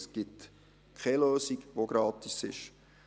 Es gibt keine Lösung, die gratis ist.